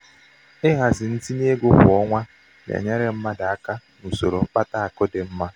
ịhazi ntinye ego kwa ọnwa na-enyere mmadụ aka n'usoro mkpata akụ dị mma.